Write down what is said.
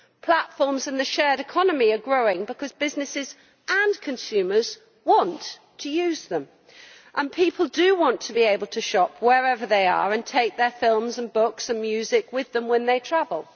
Platforms in the shared economy are growing because businesses and consumers want to use them, and people do want to be able to shop wherever they are and take their films, books and music with them when they travel.